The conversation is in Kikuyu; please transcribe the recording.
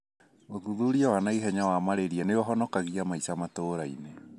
ũthuthuria wa naihenya wa malaria nĩũhonokagia maisha matũrainĩ.